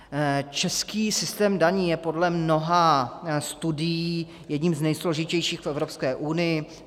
Český systém daní je podle mnoha studií jedním z nejsložitějších v Evropské unii.